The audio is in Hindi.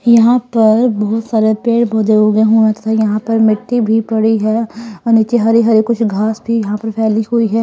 यहां पर बहुत सारे पेड़-पौधे उगे हुए है तथा यहां पर मिट्टी भी पड़ी है और नीचे हरी-हरी कुछ घास भी यहां पर फैली हुई है।